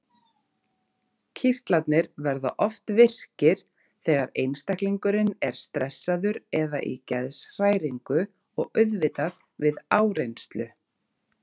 Kirtlarnir verða oft virkir þegar einstaklingurinn er stressaður eða í geðshræringu og auðvitað við áreynslu.